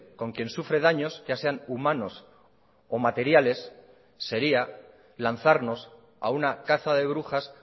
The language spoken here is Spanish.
con quien sufre daños ya sean humanos o materiales sería lanzarnos a una caza de brujas